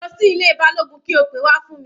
Lọ sí ilé Balógun kí o pe wá fún mi.